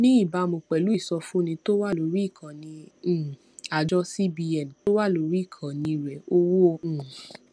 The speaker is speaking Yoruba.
ní ìbámu pẹlú ìsọfúnni tó wà lórí ìkànnì um àjọ cbn tó wà lórí ìkànnì rẹ owó um